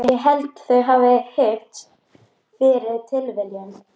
Ég held þau hafi hist fyrir tilviljun.